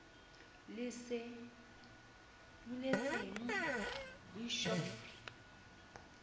le sa duletseng boshof re